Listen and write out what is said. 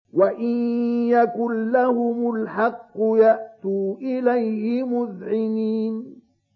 وَإِن يَكُن لَّهُمُ الْحَقُّ يَأْتُوا إِلَيْهِ مُذْعِنِينَ